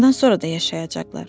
Bundan sonra da yaşayacaqlar.